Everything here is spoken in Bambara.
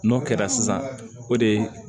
N'o kɛra sisan o de ye